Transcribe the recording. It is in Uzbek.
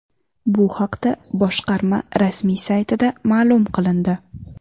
Bu haqda boshqarma rasmiy saytida ma’lum qilindi .